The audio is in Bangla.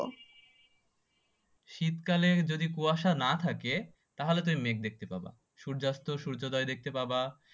শীতকালে যদি কুয়াশা না থাকে তাহলে তুমি মেঘ দেখতে পাবা, সূর্যাস্ত ও সূর্যোদয় দেখতে পাবা